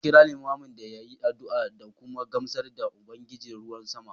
An kira Liman ya yi addu’a da kuma gamsar da Ubangijin ruwan sama